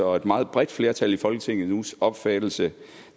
og et meget bredt flertal i folketingets opfattelse